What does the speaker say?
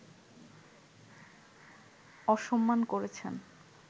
অসম্মান করেছেন